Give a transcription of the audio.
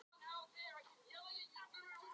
Þó ekki væri nema til að veita þeim félagsskap.